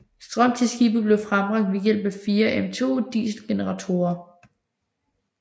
Strøm til skibet bliver frembragt ved hjælp af fire MTU dieselgeneratorer